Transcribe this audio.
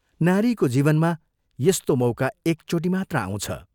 नारीको जीवनमा यस्तो मौका एकचोटि मात्र आउँछ।